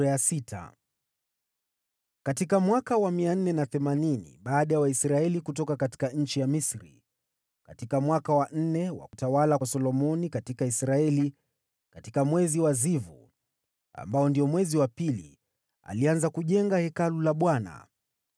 Katika mwaka wa 480 baada ya Waisraeli kutoka nchi ya Misri, katika mwaka wa nne wa utawala wa Solomoni katika Israeli, katika mwezi wa Zivu, ambao ndio mwezi wa pili, alianza kujenga Hekalu la Bwana .